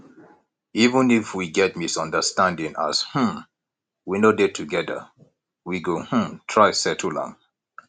even if we get misunderstanding as um we no dey together we go um try settle am